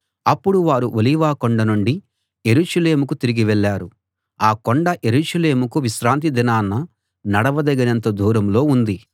అప్పుడు వారు ఒలీవ కొండ నుండి యెరూషలేముకు తిరిగి వెళ్ళారు ఆ కొండ యెరూషలేముకు విశ్రాంతి దినాన నడవదగినంత దూరంలో ఉంది